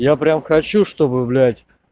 я прям хочу чтобы блять